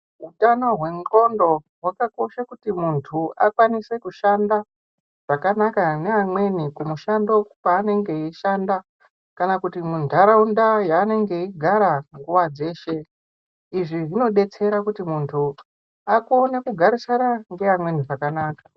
Hutano hwendxondo hwakakocha kuti muntu akwanise kushanda zvakanaka neamweni kumushando kwaanenge eishanda. Kana kuti muntaraunda yaanenge eigara nguva dzeshe. Izvi zvinobetsera kuti muntu akone kugarisana ngeamweni zvakanaka.